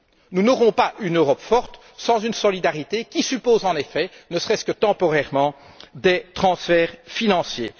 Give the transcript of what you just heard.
euro. Nous n'aurons pas une Europe forte sans solidarité, laquelle exige, ne serait ce que temporairement, des transferts financiers.